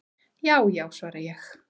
"""Já já, svara ég."""